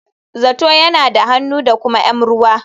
Zato yana da hannu da kuma m ruwa.